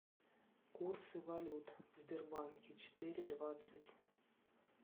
курсы валют в сбербанке четыре двадцать